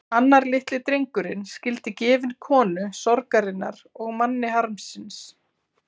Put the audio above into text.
Annar litli drengurinn skyldi gefinn konu sorgarinnar og manni harmsins.